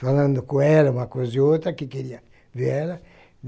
falando com ela uma coisa e outra, que queria ver ela.